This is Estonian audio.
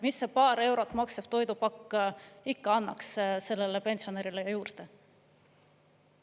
Mis see paar eurot maksev toidupakk ikka annaks sellele pensionärile juurde?